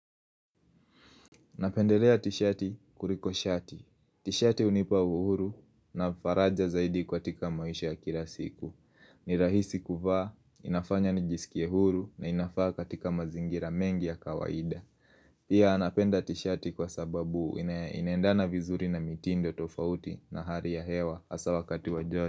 Napendelea tishati kuliko shati. Tishati unipa uhuru na faraja zaidi kwa tika maisha ya kila siku. Ni rahisi kuvaa, inafanya nijisikie huru na inafaa katika mazingira mengi ya kawaida. Pia anapenda tishati kwa sababu inaendana vizuri na mitindo tofauti na hari ya hewa asa wakati wa jodi.